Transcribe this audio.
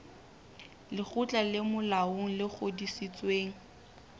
lekgotla le molaong le ngodisitsweng